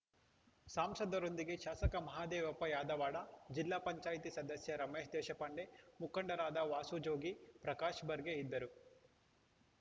ಸಾಂಸದರೊಂದಿಗೆ ಶಾಸಕ ಮಹಾದೇವಪ್ಪ ಯಾದವಾಡ ಜಿಲ್ಲಾ ಪಂಚಾಯ್ತಿ ಸದಸ್ಯ ರಮೇಶ ದೇಶಪಾಂಡೆ ಮುಖಂಡರಾದ ವಾಸು ಜೋಗಿ ಪ್ರಕಾಶ ಬರ್ಗೆ ಇದ್ದರು